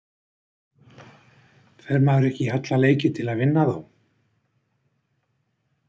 Fer maður ekki í alla leiki til að vinna þá?